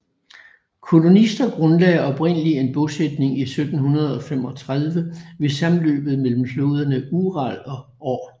Kolonister grundlagde oprindelig en bosætning i 1735 ved sammenløbet mellem floderne Ural og Or